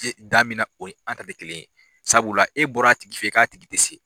Damina o ye an ta tɛ kelen ye, sabula e bɔra tigi fɛ k' tigi tɛ se.